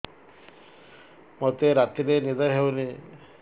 ମୋତେ ରାତିରେ ନିଦ ହେଉନି